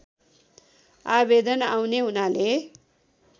आवेदन आउने हुनाले